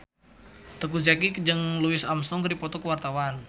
Teuku Zacky jeung Louis Armstrong keur dipoto ku wartawan